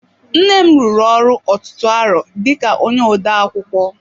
Nnem rụrụ ọrụ ọtụtụ arọ dika onye odeakwụkwọ.